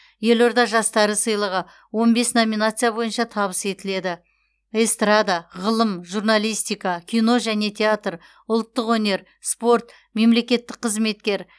елорда жастары сыйлығы он бес номинация бойынша табыс етіледі эстрада ғылым журналистика кино және театр ұлттық өнер спорт мемлекеттік қызметкер